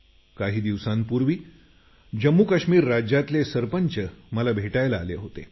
काही दिवसांपूर्वी जम्मूकाश्मीर राज्यातले सरपंच मला भेटायला आले होते